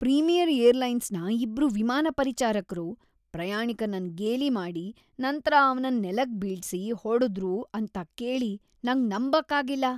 Premier ಏರ್ಲೈನ್ಸ್ನ ಇಬ್ರು ವಿಮಾನ ಪರಿಚಾರಕ್ರು ಪ್ರಯಾಣಿಕನನ್ ಗೇಲಿ ಮಾಡಿ ನಂತ್ರ ಅವನನ್ ನೆಲಕ್ಕೆ ಬೀಳ್ಸಿ ಹೊಡೆದ್ರು ಅಂತ ಕೇಳಿ ನಂಗ್ ನಂಬಕ್ ಆಗಿಲ್ಲ.